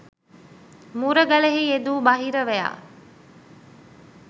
මුරගලෙහි යෙදු බහිරවයා